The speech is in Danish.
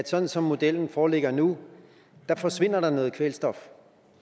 sådan som modellen foreligger nu forsvinder noget kvælstof